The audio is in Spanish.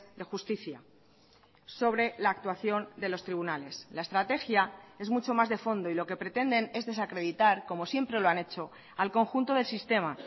de justicia sobre la actuación de los tribunales la estrategia es mucho más de fondo y lo que pretenden es desacreditar como siempre lo han hecho al conjunto del sistema